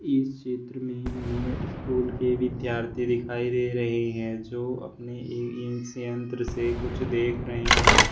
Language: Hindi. इस चित्र में हमें स्कूल के विद्यार्थी दिखाई दे रहे हैं जो अपनी इस यंत्र से कुछ देख रहे हैं की--